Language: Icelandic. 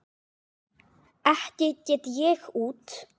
Ekki get ég út